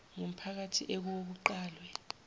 ngumphakathi ekuwo kuqalwe